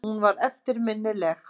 Hún var eftirminnileg.